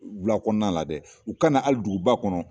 Wula kɔnɔna la dɛ u kana hali duguba kɔnɔ.